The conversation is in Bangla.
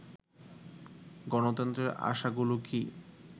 গণতন্ত্রের আশাগুলো কি